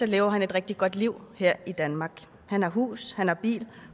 lever han et rigtig godt liv her i danmark han har hus han har bil